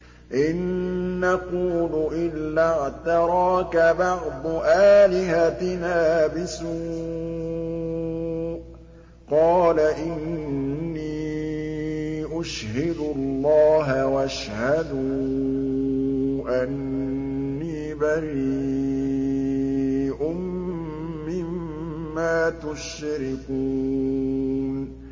إِن نَّقُولُ إِلَّا اعْتَرَاكَ بَعْضُ آلِهَتِنَا بِسُوءٍ ۗ قَالَ إِنِّي أُشْهِدُ اللَّهَ وَاشْهَدُوا أَنِّي بَرِيءٌ مِّمَّا تُشْرِكُونَ